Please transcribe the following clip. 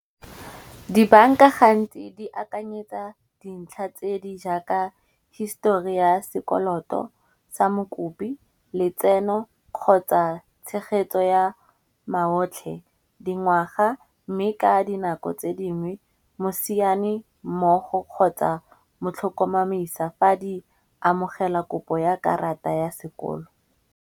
Di banka gantsi di akanyetsa dintlha tse di jaaka histori ya sekoloto sa mokopi, letseno, kgotsa tshegetso ya maotlhe. Dingwaga mme ka dinako tse dingwe mosiane mmogo kgotsa motlhokomamisa fa di amogela kopo ya karata ya sekolo.